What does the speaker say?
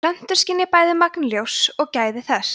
plöntur skynja bæði magn ljóssins og gæði þess